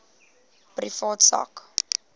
privaat sak